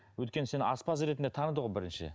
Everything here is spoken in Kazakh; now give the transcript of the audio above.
өйткені сені аспаз ретінде таныды ғой бірінші